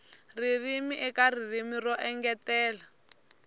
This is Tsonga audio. ririmi eka ririmi ro engetela